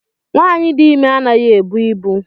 Nwaanyi dị ime anaghị ebu ibu.